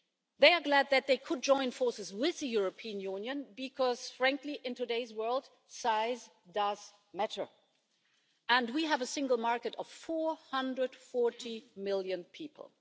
They are glad that they could join forces with the European Union, because frankly, in today's world, size does matter and we have a Single Market of 440 million people.